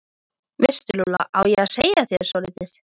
Það er mjög algeng steind í súru storkubergi.